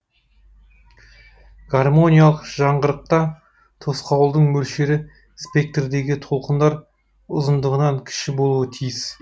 гармониялық жаңғырықта тосқауылдың мөлшері спектрдегі толқындар ұзындығынан кіші болуы тиіс